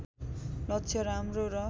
लक्ष्य राम्रो र